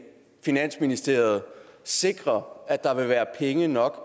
finansministeriet sikre at der vil være penge nok